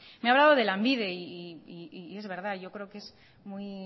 me ha hablado de lanbide y es verdad yo creo que es muy